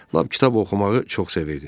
Lap kitab oxumağı çox sevirdi.